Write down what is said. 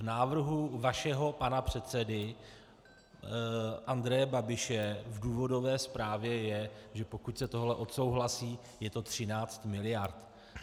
V návrhu vašeho pana předsedy Andreje Babiše v důvodové zprávě je, že pokud se tohle odsouhlasí, je to 13 miliard.